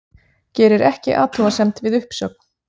Gerir ekki athugasemd við uppsögn